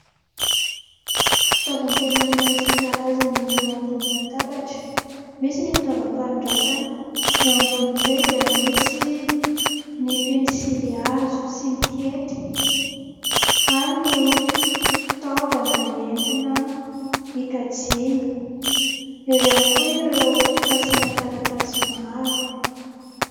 Fitaovam-pianarana isan-karazany eo ambonin'ny latabatra. Misy ny fitaovam-panoratana eo ambonin'izay dia misy ny pensilihazo sy ny hety ary ny fitaovana entina hikajiana eo ihany koa ireo fasiana taratasy maro.